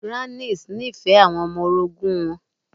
Grannis nífẹ̀ẹ́ àwọn ọmọ orogun wọn.